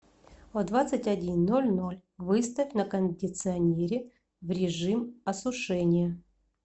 в двадцать один ноль ноль выставь на кондиционере в режим осушения